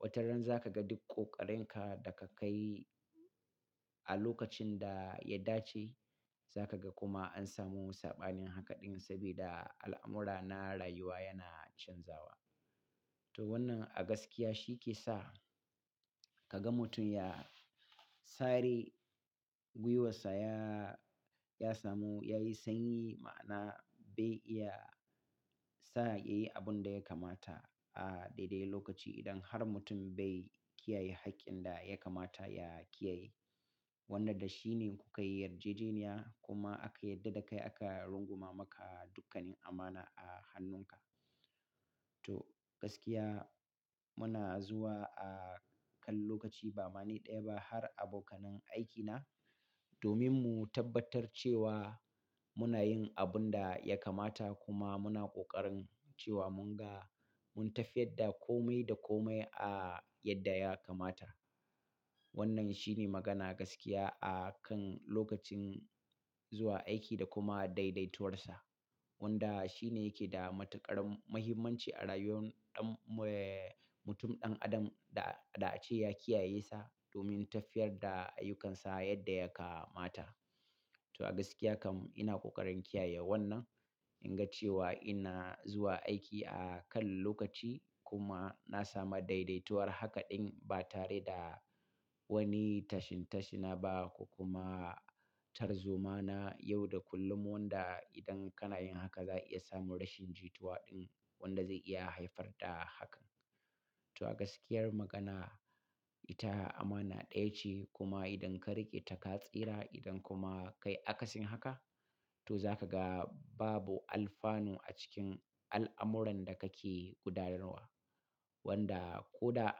Wata ran za ka ga duk ƙoƙarinka da ka kai a lokacin da ya dace, za ka ga kuma an samu saɓanin haka ɗin saboda al'amura na rayuwa yana canzawa. To wannan a gaskiya shi ke sa ka ga mutum ya sare gwiwarsa, ya, ya samu, ya yi sanyi ma'ana bai iya tsaya yayi abun da ya kamata a daidai lokaci idan har mutum bai kiyaye haƙƙin da ya kamata ya kiyaye. Wanda da shi ne kuka yi yarjejeniya kuma aka yadda da kai aka runguma maka dukkanin amana a hannunka. To gaskiya muna zuwa a kan lokaci ba ma ni ɗaya ba har abokanan aikina domin mu tabbatar cewa muna yin abun da ya kamata kuma muna ƙoƙarin cewa mun ga mun tafiyar da kome da kome a yadda ya kamata. Wannan shine magana gaskiya a kan lokacin zuwa aiki da kuma daidaituwarsa. Wanda shine yake da matuƙar muhimmanci a rayuwar ɗan mu- eh mutum ɗan adam da, da ace ya kiyaye sa domin tafiyar da ayyukansa yadda ya kamata. To a gaskiya kam ina ƙoƙarin kiyaye wannan inga cewa ina zuwa aiki a kan lokaci kuma na samu daidaituwar haka ɗin ba tare da wani tashintashina ba ko kuma tarzoma na yau da kullum wanda idan kana yin haka za'a iya samun rashin jituwa ɗin wanda zai iya haifar da haka. To a gaskiyar magana ita amana ɗaya ce kuma idan ka riƙe ta ka tsira idan kuma kai akasin haka to za ka ga babu alfanu a cikin al'amuran da kake gudanarwa. Wanda ko da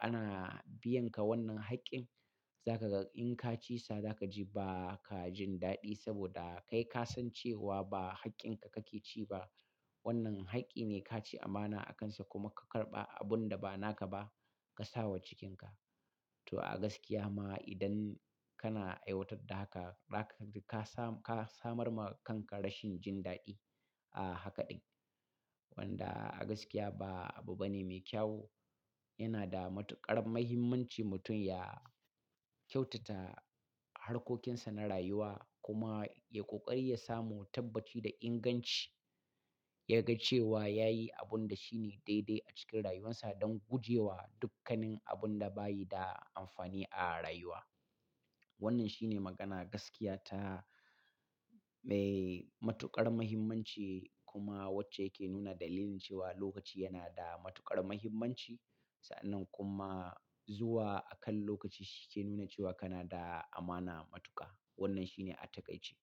ana biyan ka wannan haƙƙin za ka ga in kaci sa za kaji ba ka jin daɗi saboda kai ka san cewa ba haƙƙin ka kake ci ba. Wannan haƙƙi ne ka ci amana akansa kuma ka karɓa abun da ba naka ba ka sa wa cikinka. To a gaskiya ma idan kana aiwatar da haka, zaka ji ka samu, ka samar ma kanka rashin jin daɗi a haka ɗin. Wanda a gaskiya ba abu bane mai kyau. Yana da matuƙar muhimmanci mutum ya kyautata harkokinsa na rayuwa kuma ya ƙoƙari ya samu tabbaci da inganci. Ya ga cewa ya yi abun da shine daidai a cikin rayuwarsa don gujewa dukkanin abun da bayi da amfani a rayuwa. Wannan shine magana gaskiya ta mai matuƙar muhimmanci kuma wacce ke nuna dalilin cewa lokaci yana da matuƙar muhimmanci. Sa'annan kuma zuwa a kan lokaci shi ke nuna cewa kana da amana matuƙa. Wannan shine a takaice.